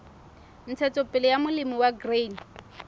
ntshetsopele ya molemi wa grain